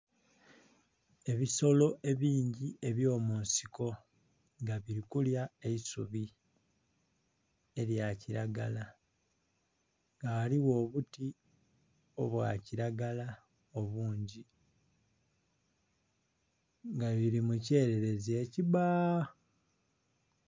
Ebisolo ebingi ebyo mu nsiko nga bili kulya eisubi elya kilagala nga ghaligho obuti obwa kilagala obungi nga lili mu kyererezi ekibaa.